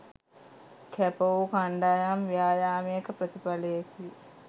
කැප වූ කණ්ඩායම් ව්‍යායාමයක ප්‍රතිඵලයකි.